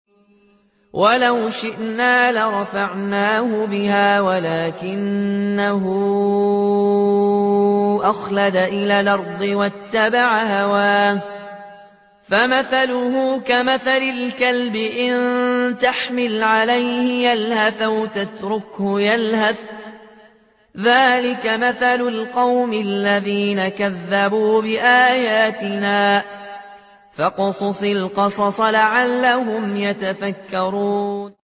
وَلَوْ شِئْنَا لَرَفَعْنَاهُ بِهَا وَلَٰكِنَّهُ أَخْلَدَ إِلَى الْأَرْضِ وَاتَّبَعَ هَوَاهُ ۚ فَمَثَلُهُ كَمَثَلِ الْكَلْبِ إِن تَحْمِلْ عَلَيْهِ يَلْهَثْ أَوْ تَتْرُكْهُ يَلْهَث ۚ ذَّٰلِكَ مَثَلُ الْقَوْمِ الَّذِينَ كَذَّبُوا بِآيَاتِنَا ۚ فَاقْصُصِ الْقَصَصَ لَعَلَّهُمْ يَتَفَكَّرُونَ